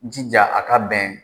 Jija a ka bɛn